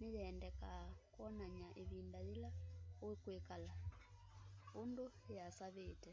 niyendekaa kwonany'a ivinda ila ukwikala undu yiasavite